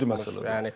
Çox ciddi məsələdir.